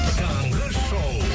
таңғы шоу